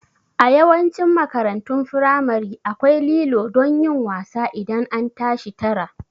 A Yawancin makarantun firamare akwai lilo don yin wasa idan an tashi tara